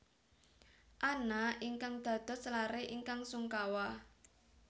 Anna ingkang dados laré ingkang sungkawa